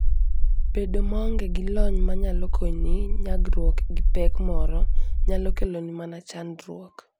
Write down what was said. Bedo maonge gi lony manyalo konyi nyagruok gi pek moro, nyalo keloni mana chandruok.